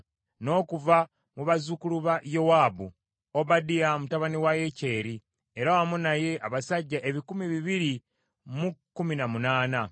n’okuva mu bazzukulu ba Yowaabu, Obadiya mutabani wa Yekyeri, era wamu naye abasajja ebikumi bibiri mu kkumi na munaana (218);